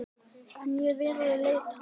En ég virði leit hans.